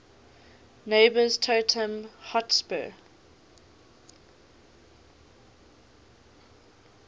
neighbours tottenham hotspur